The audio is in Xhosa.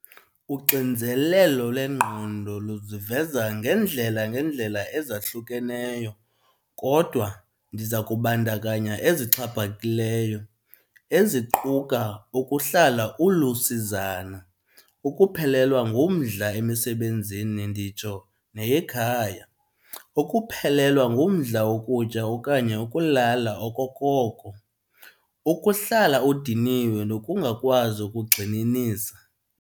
Uxinzelelo lengqondo luziveza ngeendlela ngeendlela ezahlukeneyo kodwa ndiza kubandakanya ezixhaphakileyo, eziquka ukuhlala ulusizana, ukuphelelwa ngumdla emisebenzini nditsho neyekhaya, ukuphelelwa ngumdla wokutya okanye ukulala okokoko, ukuhlala udiniwe nokungakwazi ukugxininisa.